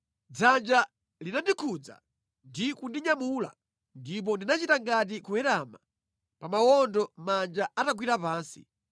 Dzanja linandikhudza ndi kundinyamula ndipo ndinachita ngati kuwerama pa mawondo manja atagwira pansi.